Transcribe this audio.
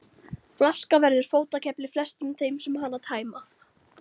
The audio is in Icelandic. Flaskan verður fótakefli flestum þeim sem hana tæma.